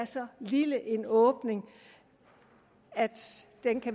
så lille en åbning at